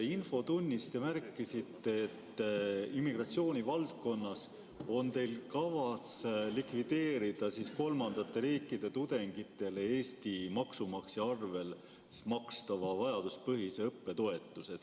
Infotunnis te märkisite, et immigratsiooni valdkonnas on teil kavas likvideerida kolmandate riikide tudengitele Eesti maksumaksja arvel vajaduspõhise õppetoetuse maksmine.